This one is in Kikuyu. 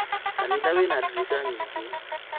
Kanitha wĩna dirica nyingĩ